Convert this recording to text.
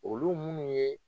Olu minnu ye